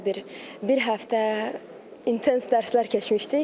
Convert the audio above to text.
Orda bir bir həftə intensiv dərslər keçmişdik.